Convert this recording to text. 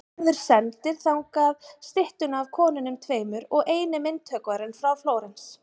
Gerður sendir þangað styttuna af konunum tveimur og er eini myndhöggvarinn frá Flórens.